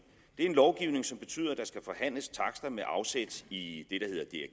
en lovgivning som betyder at der skal forhandles takster med afsæt i